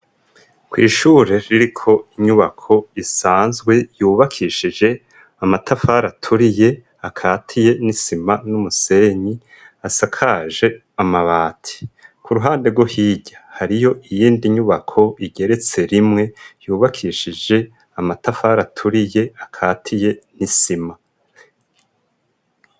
Kw'ishure ririko inyubako isanzwe yubakishije amatafari aturiye akatiye n'isima n'umusenyi asakaje amabati, ku ruhande rwo hirya hariyo iyindi nyubako igeretse rimwe yubakishije amatafari aturiye akatiye n'isima.